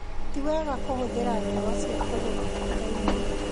Ti wega kũhũthĩra dawa cia kũgũra duka-inĩ